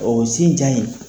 O sin ja in